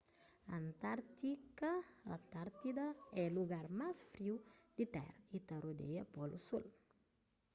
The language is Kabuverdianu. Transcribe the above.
antárktida é lugar más friu di tera y ta rodeia polu sul